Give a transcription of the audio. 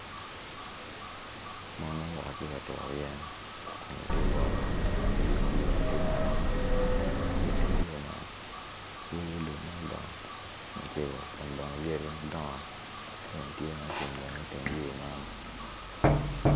Mon ma gua katuru yen kun gitye kawot i yo ma yor ne tye maram kun bene ki teng yo man tye lum ma odongo macego kun bene yadi madongo tye ma ocung iteng yor man.